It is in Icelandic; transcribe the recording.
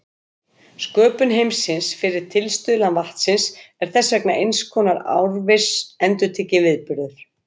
Sköpun heimsins fyrir tilstuðlan vatnsins er þess vegna eins konar árviss endurtekinn viðburður.